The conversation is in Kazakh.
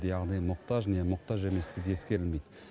яғни мұқтаж не мұқтаж еместігі ескерілмейді